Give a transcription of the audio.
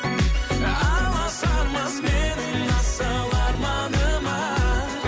аласармас менің асыл арманыма